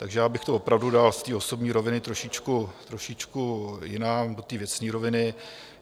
Takže já bych to opravdu dal z té osobní roviny trošičku jinam, do té věcné roviny.